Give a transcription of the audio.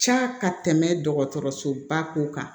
Ca ka tɛmɛ dɔgɔtɔrɔsoba ko kan